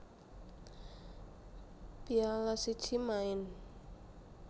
Piala siji maen